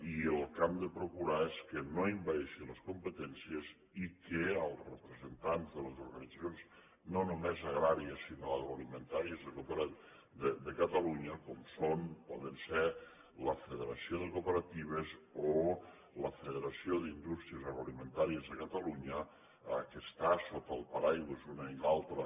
i el que hem de procurar és que no envaeixi les competències i que els representants de les organitzacions no només agràries sinó agroalimentàries de catalunya com són o poden ser la federació de cooperatives o la federació d’indústries agroalimentàries de catalunya que estan sota el paraigua l’una i l’altra